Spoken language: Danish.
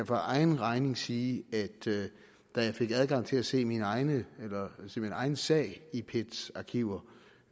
for egen regning sige at da jeg fik adgang til at se min egen egen sag i pet’s arkiver